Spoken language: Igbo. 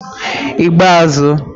igbeazu